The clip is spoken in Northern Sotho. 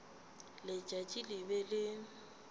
letšatši le be le le